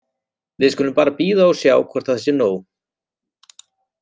Við skulum bara bíða og sjá hvort það sé nóg.